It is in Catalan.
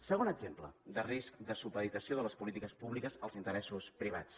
segon exemple de risc de supeditació de les polítiques públiques als interessos privats